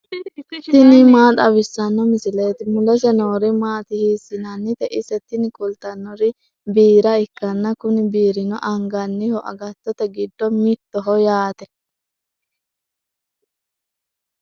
tini maa xawissanno misileeti ? mulese noori maati ? hiissinannite ise ? tini kultannori biira ikkanna kuni biirino anganniho agattote giddo mittoho yaate.